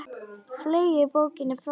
Fleygi bókinni frá mér.